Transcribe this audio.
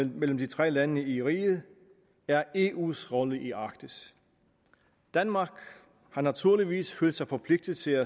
mellem de tre lande i riget er eus rolle i arktis danmark har naturligvis følt sig forpligtet til